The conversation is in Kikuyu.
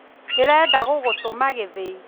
Ndĩrenda gũgũtũma gĩthĩi